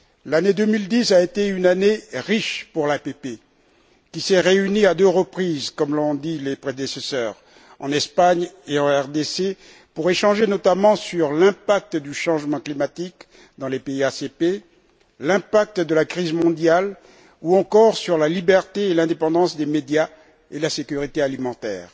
L'année 2010 a été une année riche pour l'APP, qui s'est réunie à deux reprises, comme l'ont dit mes prédécesseurs en Espagne et en République démocratique du Congo, pour échanger, notamment, sur l'impact du changement climatique dans les pays ACP, sur l'impact de la crise mondiale ou encore sur la liberté et l'indépendance des médias et sur la sécurité alimentaire.